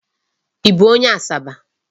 Ị bụ onye Asaba?